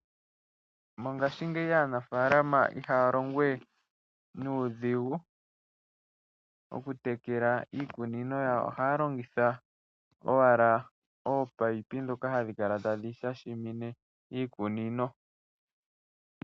Mongashingeyi aanafalama ihaa longo we nuudhigu oku tekela iikunino yawo. Oha ya longitha owala oopayipi dhoka hadhi kala tadhi shashimine iikunino.